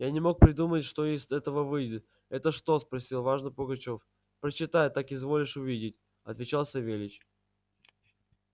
я не мог придумать что из этого выйдет это что спросил важно пугачёв прочитай так изволишь увидеть отвечал савельич